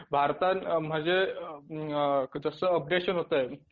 भारतात म्हणजे जसं अपडेशन होतंय